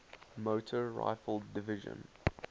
motor rifle division